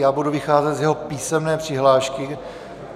Já budu vycházet z jeho písemné přihlášky.